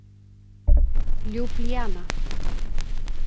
Ljúblíana